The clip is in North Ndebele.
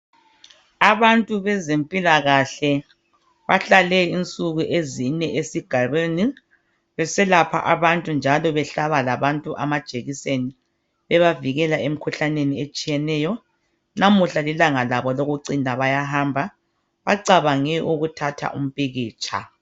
Abantu bezempilakahle bahlale insuku ezine esigabeni beselapha abantu njalo bebahlaba labantu amajekiseni bebavikele emikhuhlaneni etshiyeneyo. lamuhla lilanga labo lokucina bayahamba bacabange ukuthatha umpikitsha.